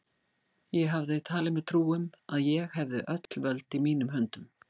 Ég hafði talið mér trú um, að ég hefði öll völd í mínum höndum.